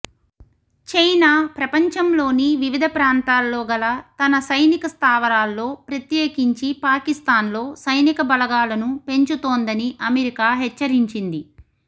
China ప్రపంచంలోని వివిధ ప్రాంతాల్లో గల తన సైనిక స్థావరాల్లో ప్రత్యేకించి పాకిస్థాన్లో సైనిక బలగాలను పెంచుతోందని అమెరికా హెచ్చరించింది